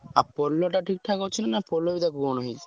ଆଉ ପୋଲଟା ଠିକ୍ ଠାକ୍ ଅଛି ନା ପୋଲ ବି କଣ ହେଇଚି?